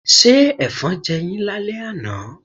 Ṣé Ẹ̀fọn jẹ yín lálẹ́ àná?